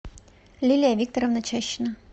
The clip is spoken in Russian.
лилия викторовна чащина